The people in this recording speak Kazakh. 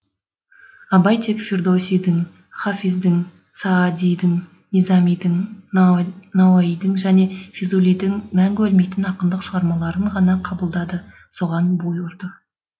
абай тек фирдоусидің ғафиздің саадидің низамидің науаидің және фзулидің мәңгі өлмейтін ақындық шығармаларын ғана қабылдады соған бой ұрды